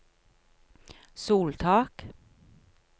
soltak